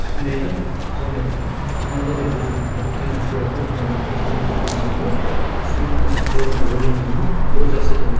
сосын мен айтамын мысалы мен күмәнданбаймын өзім мықты кино түсіре алатыныма күмәнданбаймын ешқашан түсіріп көрмесем де сұмдық нәрсе түсіре аламын деп ойлаймын деймін ғой онда ол жақсы